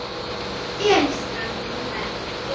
Elísa gaf honum merki.